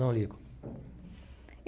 Não ligo.